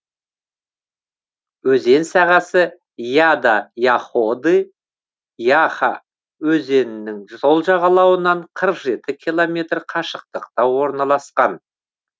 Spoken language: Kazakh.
өзен сағасы яда яходы яха өзенінің сол жағалауынан қырық жеті километр қашықтықта орналасқан